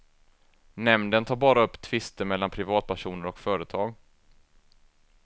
Nämnden tar bara upp tvister mellan privatpersoner och företag.